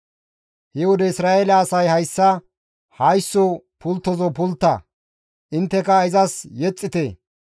He wode Isra7eele asay hayssa, «Haysso pulttozo pultta; intteka izas yexxite.